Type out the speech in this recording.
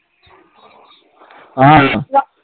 অ।